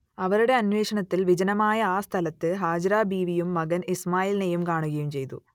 അവരുടെ അന്വേഷണത്തിൽ വിജനമായ ആ സ്ഥലത്ത് ഹാജറ ബീവിയും മകൻ ഇസ്മായിലിനെയും കാണുകയും ചെയ്തു